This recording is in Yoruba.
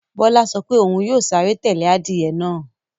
Bọ́lá sọ pé òun yóò sáré tẹ́lẹ̀ adìyẹ náà